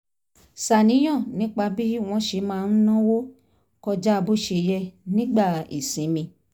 ṣàníyàn nípa bí wọ́n ṣe máa ń náwó kọjá bó ṣe yẹ nígbà ìsinmi